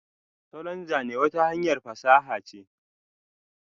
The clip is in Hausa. salon Zane wata hanyar fasaha ce.